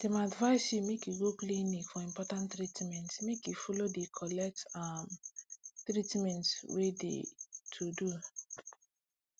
dem advice you make you go clinic for important treatment make you follow collect de um treatment wey de to do